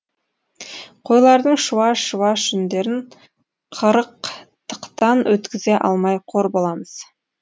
қойлардың шуаш шуаш жүндерін қырық тықтан өткізе алмай қор боламыз